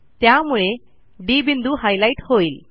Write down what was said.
त्यामुळे डी बिंदू हायलाईट होईल